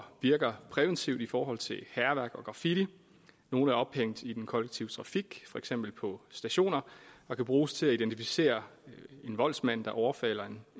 virker præventivt i forhold til hærværk og graffiti nogle er ophængt i den kollektive trafik for eksempel på stationer og kan bruges til at identificere en voldsmand der overfalder